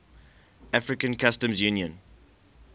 african customs union